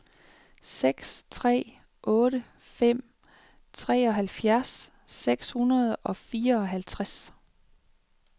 seks tre otte fem treoghalvfjerds seks hundrede og fireoghalvtreds